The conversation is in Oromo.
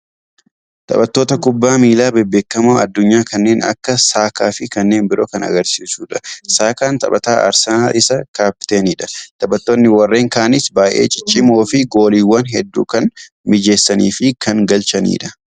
Taphattoota kubbaa miillaa bebbeekkamoo addunyaa kannneen akka Saakaa fi kanneen biroo kan agarsiisudha. Saakaan taphataa Arsenaal isa kaapteenidha. taaphattoonni warreen kaanis baay'ee ciccimoo fi gooliiwwan hedduu kan mijeessanii fi kan galchanidha.